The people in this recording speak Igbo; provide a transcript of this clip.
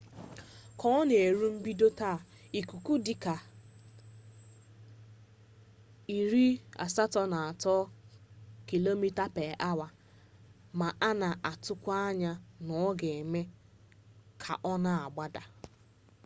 ka ọ na-erule mbido taa ikuku dị ihe dịka 83km/awa ma a na-atụkwa anya na ọ ga-eme ka ọ na-agbada